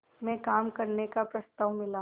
में काम करने का प्रस्ताव मिला